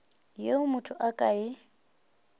yeo motho a ka e